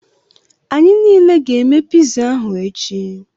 Anyị niile ga-eme piza ahụ echi.